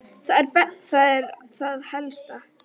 Það er það helsta.